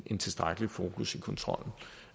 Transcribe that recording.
en tilstrækkelig fokus i kontrollen